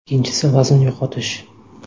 Ikkinchisi vazn yo‘qotish.